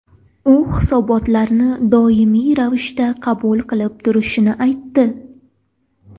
U hisobotlarni doimiy ravishda qabul qilib turishini aytdi.